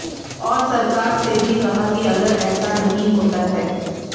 और सरकार से भी कहा कि अगर ऐसा नहीं होता है